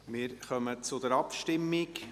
Wir kommen zur Abstimmung.